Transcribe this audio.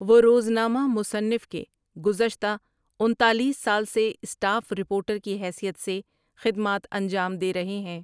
وہ روزنامہ منصف کے گزشتہ انتالیس سال سے اسٹاف رپورٹر کی حیثیت سے خدمات انجام دے رہے ہیں ۔